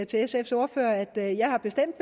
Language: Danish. til sfs ordfører at jeg jeg bestemt